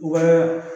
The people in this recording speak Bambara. Wa